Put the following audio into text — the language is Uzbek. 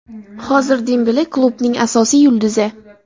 Hozir Dembele klubning asosiy yulduzi.